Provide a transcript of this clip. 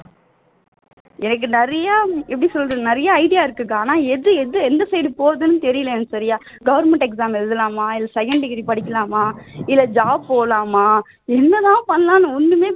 எனக்கு நிறைய எப்படி சொல்றது எனக்கு நிறைய idea இருக்கு அக்கா எப்படி எந்த எந்த side போறதுன்னு தெரியலை எனக்கு சரியா government exam எழுதலாமா இல்ல second degree படிக்கலாமா இல்ல job போலாமா என்னதான் பண்ணலாம்னு ஒண்ணுமே